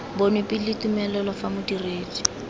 bonwe pele tumelelo fa modiredi